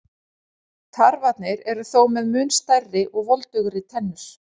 Tarfarnir eru þó með mun stærri og voldugri tennur.